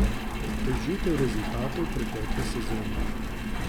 To je žetev rezultatov pretekle sezone.